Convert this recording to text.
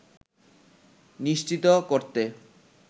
নিশ্চিত করতে